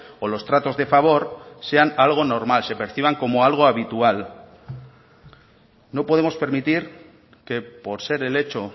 o los tratos de favor sean algo normal se perciban como algo habitual no podemos permitir que por ser el hecho